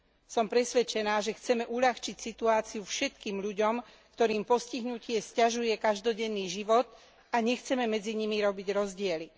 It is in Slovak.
Som presvedčená, že chceme uľahčiť situáciu všetkým ľuďom, ktorým postihnutie sťažuje každodenný život, a nechceme medzi nimi robiť rozdiely.